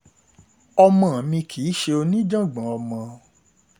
ọmọ mi kì í ṣe oníjàngbọ̀n ọmọ um